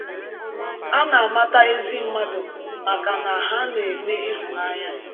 A na-amata ezi mmadụ maka na ha na-eme ịhụnanya.